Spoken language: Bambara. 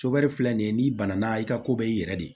Soboli filɛ nin ye n'i bana na i ka ko bɛ i yɛrɛ de